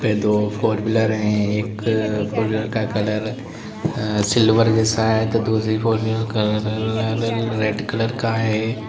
पे दो four wheeler है एक फोर व्हीलर का कलर सिल्वर जैसा है तो दूसरी फोर व्हीलर का कलर रेड कलर का है।